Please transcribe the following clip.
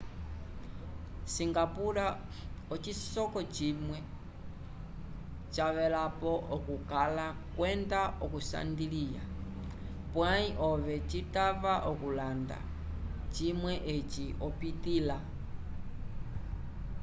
singapura ocisoko cimwe cavelapo okukala kwenda okunsandilya pwayi ove citava okulanda cimwe eci opitila